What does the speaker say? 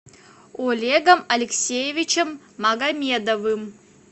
олегом алексеевичем магомедовым